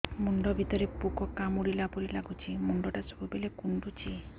ମୁଣ୍ଡ ଭିତରେ ପୁକ କାମୁଡ଼ିଲା ପରି ଲାଗୁଛି ମୁଣ୍ଡ ଟା ସବୁବେଳେ କୁଣ୍ଡୁଚି